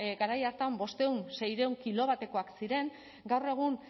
garai hartan bostehun seiehun kilo batekoak ziren gaur egun